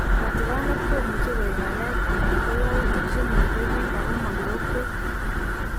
Katikaanet komuchi koek ngalek anan ko yautik chenetee biik ako ma kirokweek